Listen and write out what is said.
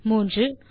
மூன்றாவது